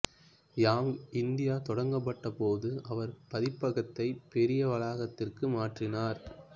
young India தொடங்கப்பட்டபோது அவர் பதிப்பகத்தை பெரிய வளாகத்திற்கு மாற்றினார்